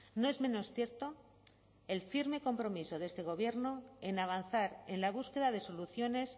no es menos cierto el firme compromiso de este gobierno en avanzar en la búsqueda de soluciones